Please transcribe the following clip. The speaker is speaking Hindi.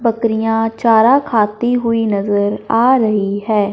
बकरियां चारा खाती हुई नजर आ रही है।